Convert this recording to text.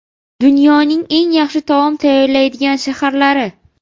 Dunyoning eng yaxshi taom tayyorlaydigan shaharlari .